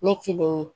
Ne kelen ye